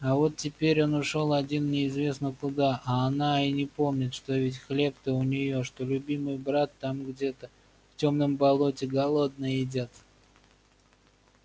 а вот теперь он ушёл один неизвестно куда а она и не помнит что ведь хлеб-то у нее что любимый брат там где-то в тёмном болоте голодный идёт